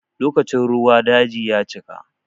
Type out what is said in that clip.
Lokacin ruwa daji ya cika.